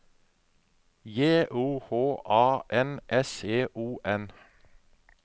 J O H A N S O N